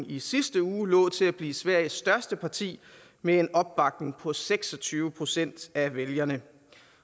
i sidste uge lå til at blive sveriges største parti med en opbakning på seks og tyve procent af vælgerne